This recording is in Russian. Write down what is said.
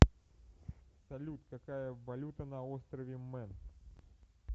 салют какая валюта на острове мэн